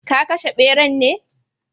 Ka kashe beran ne?